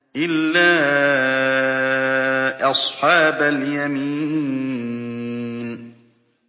إِلَّا أَصْحَابَ الْيَمِينِ